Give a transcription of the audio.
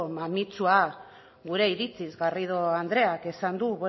mamitsua gure iritziz garrido andreak esan du